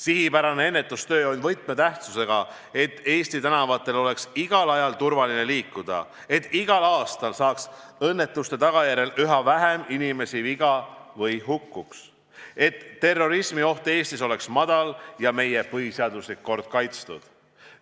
Sihipärane ennetustöö on võtmetähtsusega, et Eesti tänavatel oleks igal ajal turvaline liikuda, et igal aastal saaks õnnetuste tagajärjel üha vähem inimesi viga või surma, et terrorismioht Eestis oleks väike ja meie põhiseaduslik kord kaitstud.